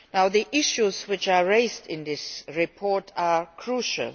The issues which are raised in this report are crucial